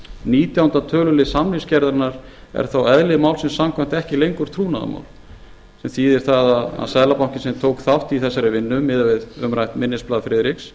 nítjánda tölulið samningsgerðarinnar er þó eðli málsins samkvæmt ekki lengur trúnaðarmál sem þýðir það að seðlabankinn sem tók þátt í þessari vinnu miðað við umrætt minnisblað friðriks